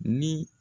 Ni